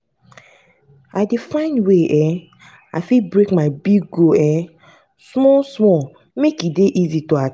i dey find way um i fit break my big goal um small-small make e dey easy to.